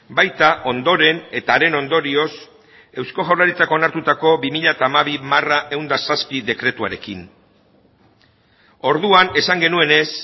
baita ondoren eta haren ondorioz eusko jaurlaritzak onartutako bi mila hamabi barra ehun eta zazpi dekretuarekin orduan esan genuenez